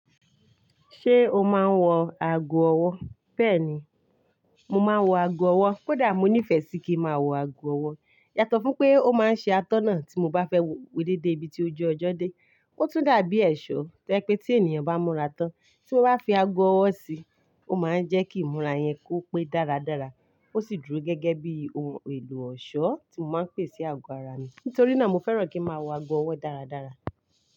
Ṣé o máa ń wọ ago ọwọ́? Bẹ́ẹ̀ni, mo máa ń wọ ago ọwọ́. Kódà mo nífẹ̀ẹ́ sí kí ń máa wọ ago ọwọ́. Yàtọ̀ fún pé ó máa ń ṣe atọ́nà tí mo bá fẹ́ wò dédé ibi tí ó jọ́ ọjọ́ dé. Ó tún dàbí ẹ̀ṣọ́ tẹ́ pé tí ènìyàn bá múra tán tí ó bá fi ago ọwọ́ sí i, ó máa ń jẹ́ kí ìmúra yẹn kó pé dáradára. Ó sì dúró gẹ́gẹ́ bí ohun èlò ọ̀ṣọ́ tí mo máa ń pèsẹ ago ara mi. Nítorí náà, mo fẹ́ràn kí ń máa wọ ago ọwọ́ dáradára.